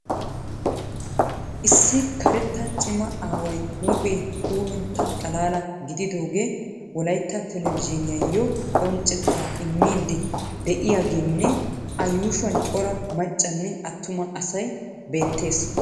Issi karetta cimma aaway huuphphee puuluntta xalalaa gididoogee Wolaita televizhuniyaayo qonccettaa immidi de'iyaageenne a yuushshuwan cora maccanne atumma asay beettees.